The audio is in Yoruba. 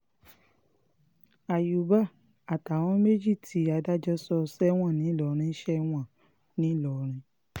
àyùbá àtàwọn méjì tí adájọ́ sọ sẹ́wọ̀n ńìlọrin sẹ́wọ̀n ńìlọrin